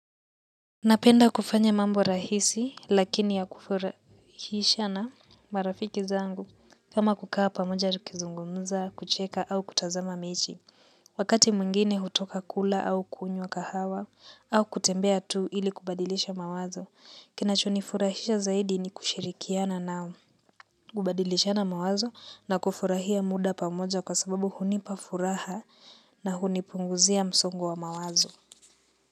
Napenda kufanya mambo rahisi lakini ya kufurahisha na marafiki zangu kama kukaa pamoja tukizungumza, kucheka au kutazama mechi. Wakati mwingine hutoka kula au kunywa kahawa au kutembea tu ili kubadilisha mawazo. Kinachonifurahisha zaidi ni kushirikiana nao kubadilishana mawazo na kufurahia muda pamoja kwa sababu hunipa furaha na hunipunguzia msongo wa mawazo.